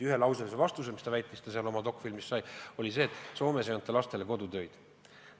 Ühelauseline vastus, mis seal dokfilmis kõlas, oli see, et Soomes ei anta lastele kodutöid.